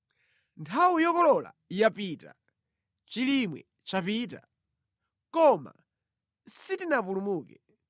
“Nthawi yokolola yapita, chilimwe chapita, koma sitinapulumuke.”